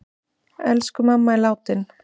Elsku mamma er látin.